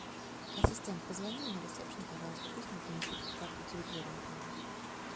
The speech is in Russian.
ассистент позвони на ресепшен пожалуйста пусть мне принесут карту территории отеля